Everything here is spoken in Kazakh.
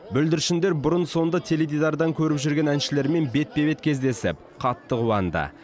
бүлдіршіндер бұрын соңды теледидардан көріп жүрген әншілерімен бетпе бет кездесіп қатты қуанды